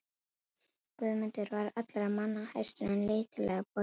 Guðmundur var allra manna hæstur en lítillega boginn í baki.